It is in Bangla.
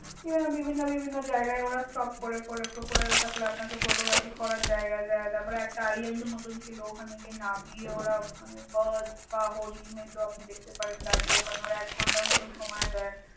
বিভিন্ন জায়গায় ওঁরা stop করে করে, crocodile থাকলে আপনাকে photography করার জায়গা দেয়। তারপর একটা island মতন ছিল। ওখানে গিয়ে নামিয়ে ওঁরা birds বা হরিন, এইগুল আপনি দেখতে পারেন দাঁড়িয়ে। ওখানে ওঁরা এক ঘণ্টা মত সময় দেন।